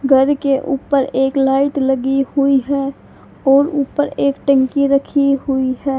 घर के ऊपर एक लाइट लगी हुई है और ऊपर एक टंकी रखी हुई है।